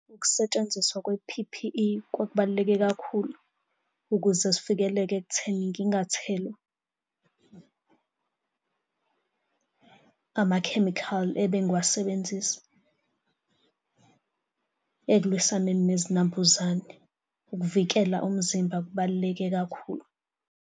Ukusetshenziswa kwe-P_P_E kubaluleke kakhulu ukuze sivikeleke ekutheni ngingathelwa amakhemikhali ebe ngiwasebenzisa ekulwisaneni nezinambuzane. Ukuvikela umzimba kubaluleke kakhulu.